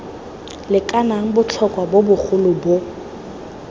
lekanang botlhotlhwa bo bogolo bo